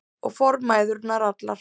Og formæðurnar allar.